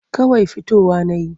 Kawai fitowa na yi.